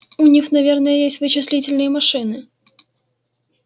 у них наверное есть вычислительные машины